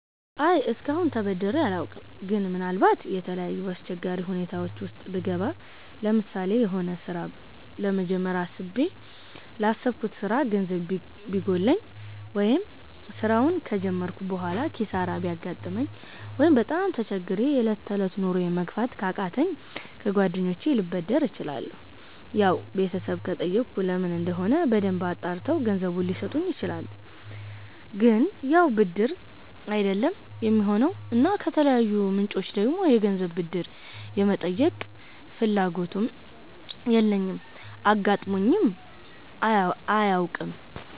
አይ እስከአሁን ተበድሬ አላውቅም ግን ምናልባት የተለያዩ አስቸጋሪ ሁኔታወች ዉስጥ ብገባ ለምሳሌ የሆነ ስራ ለመጀመር አስቤ ላሰብኩት ስራ ገንዘብ ቢጎለኝ፣ ወይ ስራውን ከጀመርኩ በሆላ ኪሳራ ቢያጋጥመኝ፣ ወይ በጣም ተቸግሬ የ እለት ተእለት ኑሮየን መግፋት ካቃተኝ ከ ጓደኞቸ ልበደር እችላለሁ ያው ቤተሰብ ከጠየኩ ለምን እንደሆነ በደንብ አጣርተው ገንዘቡን ሊሰጡኝ ይችላሉ ግን ያው ብድር አይደለም የሚሆነው እና ከተለያዩ ምንጮች ደግሞ የገንዘብ ብድር የመጠየቅ ፍላጎቱም የለኝም አጋጥሞኝም አያውቅም